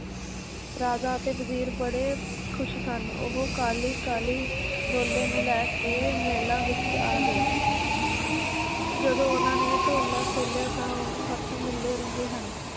ਰਾਜਾ ਅਤੇ ਵਜ਼ੀਰ ਬੜੇ ਖੁਸ਼ ਸਨ ਉਹ ਕਾਹਲੀ ਕਾਹਲੀ ਡੋਲੇ ਨੂੰ ਲੈ ਕੇ ਮਹਿਲਾਂ ਵਿਚ ਆ ਗਏ ਜਦੋਂ ਉਹਨਾਂ ਨੇ ਢੋਲਾ ਖੋਲਿਆਂ ਤਾਂ ਉਹ ਹੱਥ ਮਲਦੇ ਰਹੇ ਹਨ